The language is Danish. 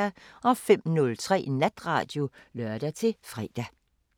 05:03: Natradio (lør-fre)